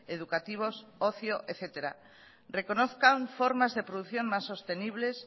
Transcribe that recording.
educativos ocio etcétera reconozcan formas de producción más sostenibles